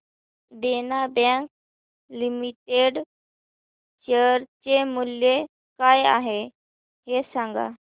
देना bank limited share चे मूल्य काय आहे हे सांगा